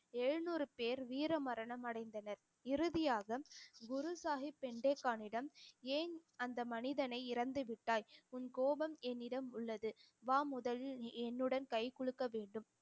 எழுநூறு பேர் வீர மரணம் அடைந்தனர் இறுதியாக குரு சாஹிப் பெண்டே கானிடம் ஏன் அந்த மனிதனை இறந்துவிட்டாய் உன் கோபம் என்னிடம் உள்ளது வா முதலில் நீ என்னுடன் கை குலுக்க வேண்டும்